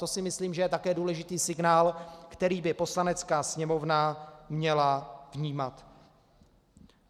To si myslím, že je také důležitý signál, který by Poslanecká sněmovna měla vnímat.